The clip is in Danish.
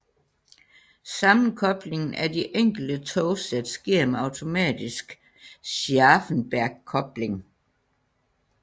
Sammenkoblingen af de enkelte togsæt sker med automatisk Scharfenbergkobling